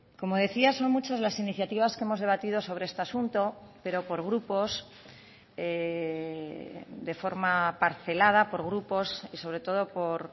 como decía son muchas las iniciativas que hemos debatido sobre este asunto pero por grupos de forma parcelada por grupos y sobre todo por